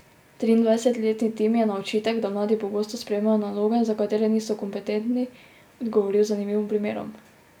Triindvajsetletni Tim je na očitek, da mladi pogosto sprejemajo naloge, za katere niso kompetentni, odgovoril z zanimivim primerom.